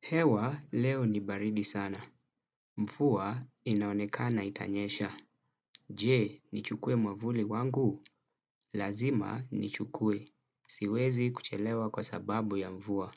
Hewa, leo ni baridi sana. Mfuwa inaonekana itanyesha. Je, nichukue mwavuli wangu? Lazima nichukue. Siwezi kuchelewa kwa sababu ya mvua.